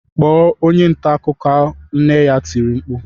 "Kpọọ onye nta akụkọ!” Nne ya tiri mkpu